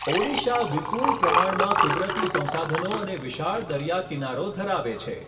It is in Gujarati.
ઓડિશા વિપુલ પ્રમાણમાં કુદરતી સંસાધનો અને વિશાળ દરિયા કિનારો ધરાવે છે.